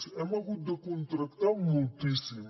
hem hagut de contractar moltíssim